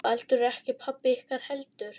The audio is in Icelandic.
Baldur er ekki pabbi ykkar heldur